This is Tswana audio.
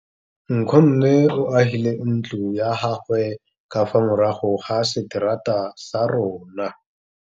Nkgonne o agile ntlo ya gagwe ka fa morago ga seterata sa rona.